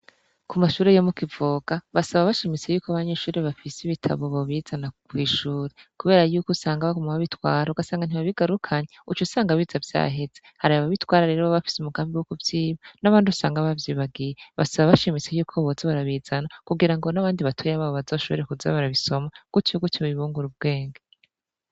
Ku mashure yo mukivoga basaba abashimise yuko abanyeshuri bafise ibitabo bo bizana kw'ishure, kubera yuko usanga bakama babitwara ugasanga ntibabigarukanyi uco usanga biza vyaheza hari ababitwara rero ba bafise umugami bw'o kuvyiba n'abandi usanga bavyibagiye basaba abashimise yuko boza barabizana kugira ngo n'abandi batoye babo bazashobore kuzabarabisoma gutyo gutyo babingura ubwenge.